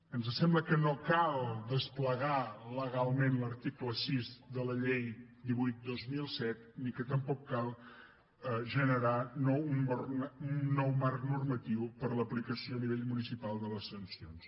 ens sembla que no cal desplegar legalment l’article sis de la llei divuit dos mil set ni que tampoc cal generar un nou marc normatiu per a l’aplicació a nivell municipal de les sancions